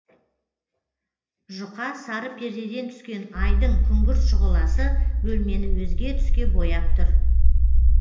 жұқа сары пердеден түскен айдың күңгірт шұғыласы бөлмені өзге түске бояп тұр